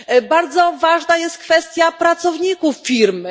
Bardzo ważna jest kwestia pracowników firmy.